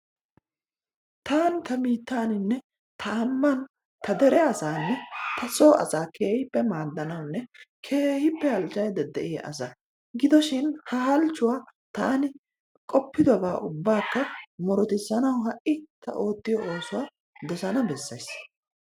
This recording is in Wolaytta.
Taani ta biittaaninne ta ambban ta dere asaanne ta soo asaa keehippe maaddanawunne keehippe halchchaydda de'iya asa. Gidoshin ha halchchuwa taani qoppidobaa ubbaakka murutissanawu ha"i ta oottiyo oosuwa dosanawu bessees.